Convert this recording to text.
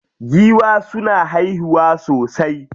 Giwa suna haihuwa sosai.